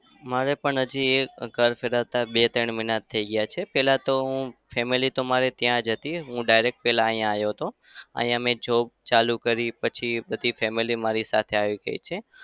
મારે પણ હજી એક ઘર સજાવતા બે-ત્રણ મહિના થઇ ગયા છે. પહેલા તો હું family તો ત્યાં જ હતી. હું direct પહેલા અહીંયા આવ્યો હતો. અહિયાં. મેં job ચાલુ કરી પછી બધી family મારી સાથે આવી ગઈ છે.